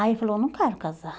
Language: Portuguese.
Aí ele falou, eu não quero casar.